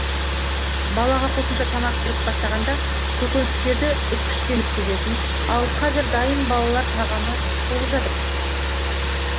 балаға қосымша тамақ беріп бастағанда көкөністерді үккіштен өткізетін ал қазір дайын балалар тағамы толып жатыр